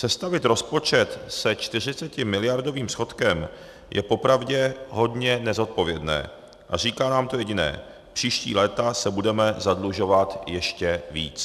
Sestavit rozpočet se 40miliardovým schodkem je popravě hodně nezodpovědné a říká nám to jediné - příští léta se budeme zadlužovat ještě víc.